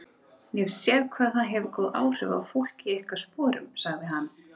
Ég hef séð hvað það hefur góð áhrif á fólk í ykkar sporum, sagði hann.